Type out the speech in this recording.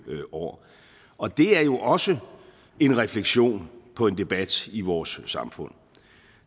år og det er jo også en refleksion på en debat i vores samfund